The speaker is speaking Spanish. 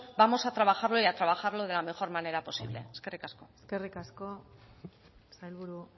vamos a trabajarlo y a trabajarlo de la mejor manera posible eskerrik asko eskerrik asko sailburu